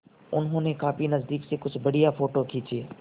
उन्होंने काफी नज़दीक से कुछ बढ़िया फ़ोटो खींचे